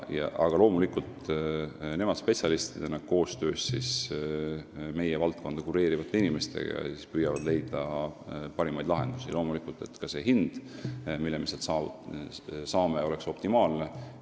Aga loomulikult püüavad nemad spetsialistidena koostöös meie valdkonda kureerivate inimestega leida parimaid lahendusi, vaadates ka, et hind, mille eest me ruumid saame, oleks optimaalne.